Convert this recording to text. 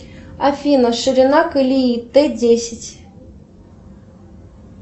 афина ширина колеи т десять